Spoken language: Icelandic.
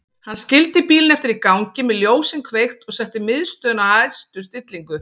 Hann skildi bílinn eftir í gangi með ljósin kveikt og setti miðstöðina á hæstu stillingu.